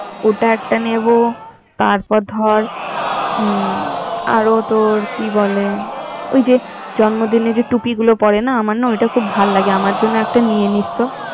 ওটা একটা নিবো, তারপর ধর, অম আরো তোর কি বলে ওই যে জন্মদিনে টুপি গুলো পরে না আমার না ওইটা খুব ভালো লাগেআমার জন্য একটা নিয়ে নিস তো